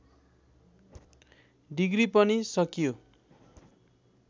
degree पनि सकियो